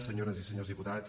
senyores i senyors diputats